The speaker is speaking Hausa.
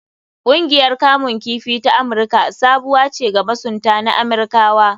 Ƙungiyar kamun kifi ta Amirka sabuwa ce ga masunta na Amirkawa.